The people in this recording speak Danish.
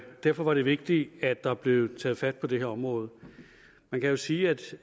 derfor var det vigtigt at der blev taget fat på det her område man kan jo sige at